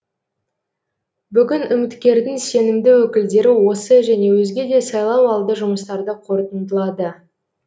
бүгін үміткердің сенімді өкілдері осы және өзге де сайлауалды жұмыстарды қорытындылады